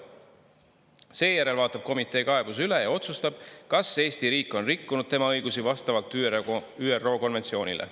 Seejärel vaatab komitee kaebuse üle ja otsustab, kas Eesti riik on rikkunud tema õigusi vastavalt ÜRO konventsioonile.